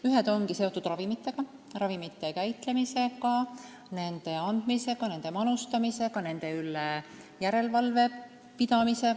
Ühed ongi seotud ravimitega, nende käitlemise, andmise ja manustamisega ning nende üle järelevalve pidamisega.